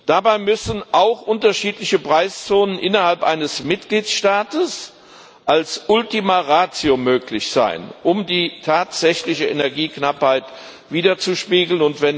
Dabei müssen auch unterschiedliche Preiszonen innerhalb eines Mitgliedstaates als Ultima Ratio möglich sein, um die tatsächliche Energieknappheit widerzuspiegeln.